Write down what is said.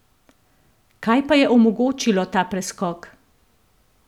Kaj pa je omogočilo ta preskok?